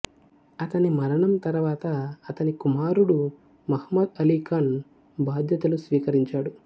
అతని మరణం తరువాత అతని కుమారుడు ముహమ్మద్ అలీ ఖాన్ బాధ్యతలు స్వీకరించాడు